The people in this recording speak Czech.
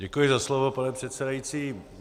Děkuji za slovo, pane předsedající.